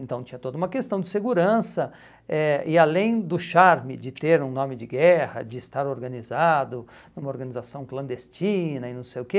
Então tinha toda uma questão de segurança eh e além do charme de ter um nome de guerra, de estar organizado numa organização clandestina e não sei o quê,